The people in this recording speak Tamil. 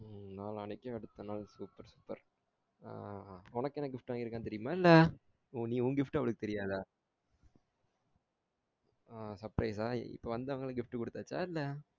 உம் நாளானைக்கு அடுத்த நாள் super super அஹ் உனக்கு என்ன gift வாங்கி இருக்காங்கனு தெறியுமா இல்ல ஒன் gift அவளுக்கு தெரியாதா அஹ் surprise ஆ இப்ப வந்தோன gift குடுத்தாச்சா இல்ல